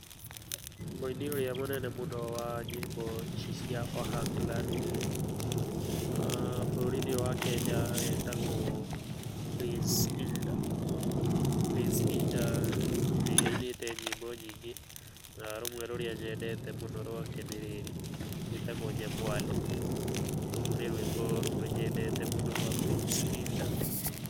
Mũini ũrĩa mũnene mũno wa nyĩmbo ici cia Ohangla nĩ rĩrĩ, bũrũrinĩ ũyũ wa Kenya etagwo Prince Indah. Prince Indah nĩ ainĩte nyĩmbo nyingĩ, na rũmwe rwake rũrĩa nyendete mũno nĩ rĩrĩ, rwĩtagwo Nyamwaro, rũu nĩ rwĩmbo rũmwe nyendete mũno rwa Prince Indah.